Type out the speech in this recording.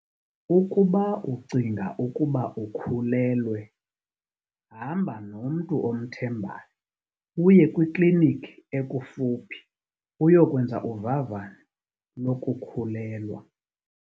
Ukuba ucinga ukuba ukhulelwe, hamba nomntu omthembayo uye kwikliniki ekufuphi uyokwenza uvavanyo lokukhulelwa.